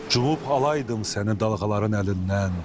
Cubb alaydım səni dalğaların əlindən.